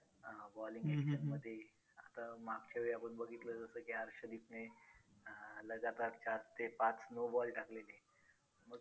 अं bowling action मध्ये आता मागच्यावेळी आपण बघितलं होतं की हर्षदिपने अं लगातार चार ते पाच no ball टाकलेले. मग